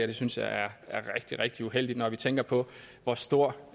det synes jeg er rigtig rigtig uheldigt når vi tænker på hvor stor